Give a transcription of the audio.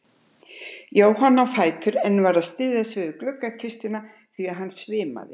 Jóhann á fætur en varð að styðja sig við gluggakistuna því hann svimaði.